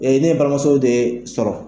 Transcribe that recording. Bin ye ne balimamuso de sɔrɔ.